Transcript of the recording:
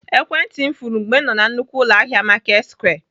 Ekwentị m furu mgbe m nọ na nnukwu ụlọahịa Marketsquare.